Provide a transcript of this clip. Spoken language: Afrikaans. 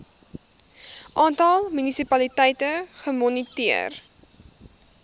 aantal munisipaliteite gemoniteer